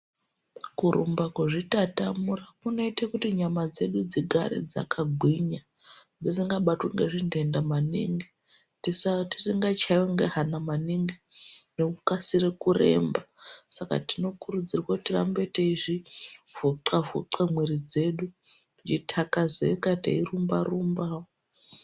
Kurumba, kuzvitatamura kunoite kuti nyama dzedu dzigare dzakagwinya dzisingabatwi ngezvitenda maningi tisingachaiwi nehana maningi nekukasira kuremba. Saka tinokurudzirwa kuti tirambe teizvivhuxa vhuxa nyama dzedu dzeithakazeke teirumba rumba.